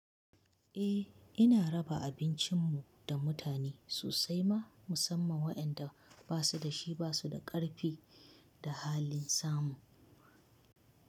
Eh ina raba abincin mu da mutane sosai ma musamman waɗanda ba su da shi, ba su da ƙarfi da halin samu.